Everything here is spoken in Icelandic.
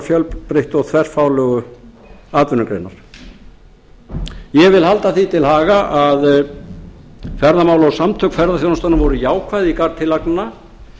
fjölbreyttu og þverfaglegu atvinnugreinar ég vil halda því til haga að ferðamál og samtök ferðaþjónustunnar voru jákvæð í garð tillagnanna